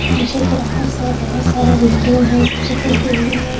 पीछे क्लास हैं बहुत सारा विंडो हैं छत पर बिल्डिंगे हैं।